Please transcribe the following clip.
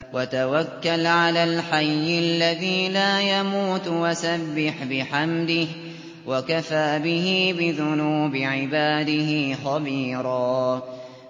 وَتَوَكَّلْ عَلَى الْحَيِّ الَّذِي لَا يَمُوتُ وَسَبِّحْ بِحَمْدِهِ ۚ وَكَفَىٰ بِهِ بِذُنُوبِ عِبَادِهِ خَبِيرًا